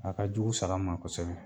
A ka jugu saga ma kosɛbɛ.